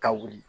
Ka wuli